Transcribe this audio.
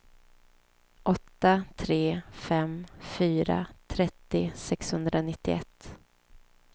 åtta tre fem fyra trettio sexhundranittioett